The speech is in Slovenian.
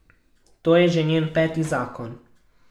To je že njen peti zakon.